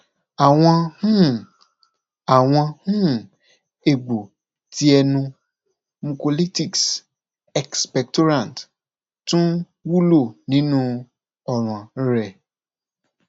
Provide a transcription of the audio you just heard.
awọn um awọn um egbo ti ẹnu mucolytics expectorants tun wulo ninu ọran rẹ